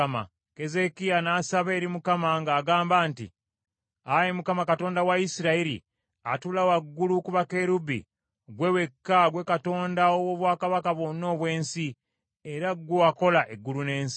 Keezeekiya n’asaba eri Mukama ng’agamba nti, “Ayi Mukama Katonda wa Isirayiri, atuula waggulu ku bakerubi, ggwe wekka, ggwe Katonda ow’obwakabaka bwonna obw’ensi, era ggwe wakola eggulu n’ensi.